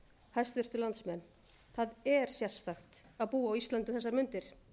hæstvirtir landsmenn það er sérstakt að búa á íslandi um þessar mundir